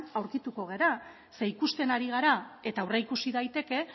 aurkituko gara ze ikusten ari gara eta aurreikusi daiteke